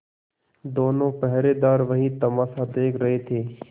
दोनों पहरेदार वही तमाशा देख रहे थे